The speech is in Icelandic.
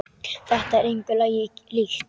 Þetta er engu lagi líkt.